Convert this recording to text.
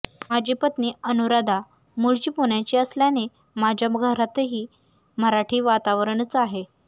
माझी पत्नी अनुराधा मूळची पुण्याची असल्याने माझ्या घरातही मराठी वातावरणच आहे